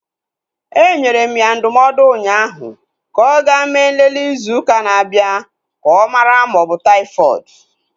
Enyere m ya ndụmọdụ unyaahu ka ọ ga mee nlele izu ụka na-abịa ka ọ mara ma ọ bụ taifọdụ